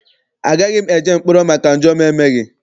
Agaghị m eje mkpọrọ maka njọ m emeghị.